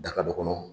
Daga dɔ kɔnɔ